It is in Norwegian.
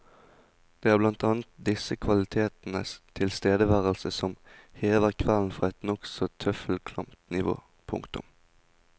Det er blant annet disse kvalitetenes tilstedeværelse som hever kvelden fra et nokså tøffelklamt nivå. punktum